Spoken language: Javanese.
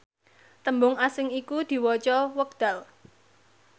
tembung asing iku diwaca wekdal